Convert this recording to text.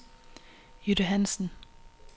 Jytte Hansen